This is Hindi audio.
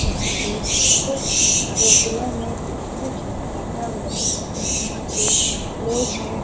यहाँ पे कुछ बोतलों में कुछ रखा हुआ है यहाँ पे लोग हैं।